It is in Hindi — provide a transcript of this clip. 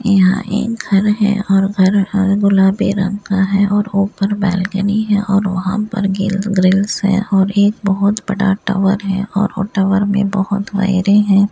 यहां एक घर है और घर हरा गुलाबी रंग का है और ऊपर बालकनी है और वहां पर गिल ग्रिल्स है और एक बहुत बड़ा टावर है और वो टावर में बहुत वायरिंग हैं।